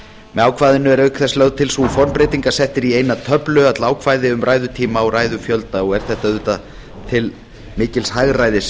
með ákvæðinu er auk þess lögð til sú formbreyting að sett eru í eina töflu öll ákvæði um ræðutíma og ræðufjölda og er þetta auðvitað til mikils hagræðis